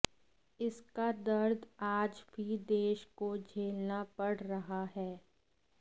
इसका दर्द आज भी देश को झेलना पड़ रहा है